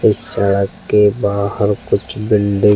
इस सड़क के बाहर कुछ बिल्डिंग --